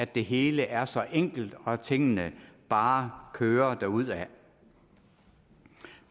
det hele er så enkelt og tingene bare kører derudad